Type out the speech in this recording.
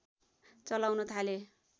चलाउन थाले